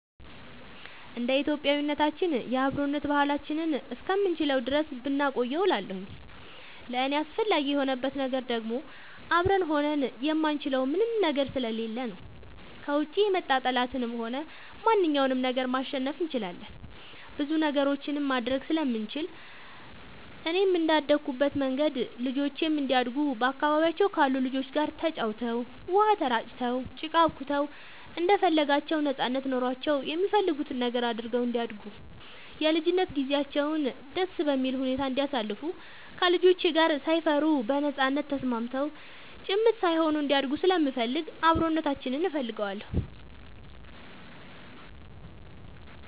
እንደ ኢትዮጵያዊነታችን የአብሮነት ባህላችንን እስከምንችለው ድረስ ብናቆየው እላለሁኝ። ለእኔ አስፈላጊ የሆንበት ነገር ደግሞ አብረን ሆነን የማንችለው ምንም ነገር ስለሌለ ነው። ከውጭ የመጣ ጠላትንም ሆነ ማንኛውንም ነገር ማሸነፍ እንችላለን ብዙ ነገሮችንም ማድረግ ስለምንችል፣ እኔም እንደአደኩበት መንገድ ልጆቼም እንዲያድጉ በአካባቢያቸው ካሉ ልጆች ጋር ተጫውተው, ውሃ ተራጭተው, ጭቃ አቡክተው እንደፈለጋቸው ነጻነት ኖሯቸው የሚፈልጉትን ነገር አድርገው እንዲያድጉ የልጅነት ጊዜያቸውን ደስ በሚል ሁኔታ እንዲያሳልፉ ከልጆች ጋር ሳይፈሩ በነጻነት ተስማምተው ጭምት ሳይሆኑ እንዲያድጉ ስለምፈልግ አብሮነታችንን እፈልገዋለሁ።